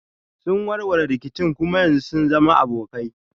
Sun warware rikicin kuma yanzu sun zama abokai.